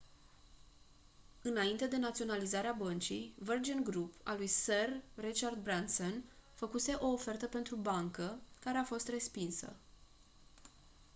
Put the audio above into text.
înainte de naționalizarea băncii virgin group al lui sir richard branson făcuse o ofertă pentru bancă care a fost respinsă